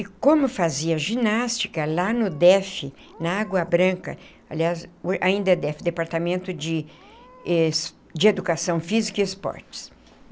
E como fazia ginástica lá no DEF, na Água Branca, aliás, ainda é DEF, Departamento de eh Educação Física e Esportes.